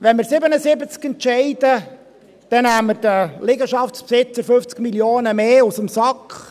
Wenn wir uns für 77 entscheiden, dann nehmen wir den Liegenschaftsbesitzern 50 Mio. Franken mehr aus dem Sack.